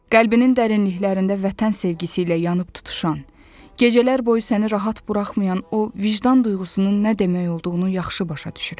Qəlbinin dərinliklərində vətən sevgisi ilə yanıb tutuşan, gecələr boyu səni rahat buraxmayan o vicdan duyğusunun nə demək olduğunu yaxşı başa düşürəm.